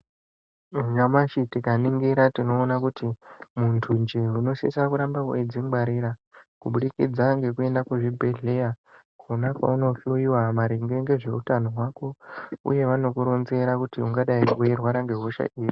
Nyamashi tikaningira tinoona kuti, muntunje unosisa kuramba weidzingwarira, kubudikidza ngekuenda kuzvibhedhleya, kwona kwaunohloiwa maringe ngezveutano hwako, uye vanokuronzera kuti ungadai weirwara nehosha iri.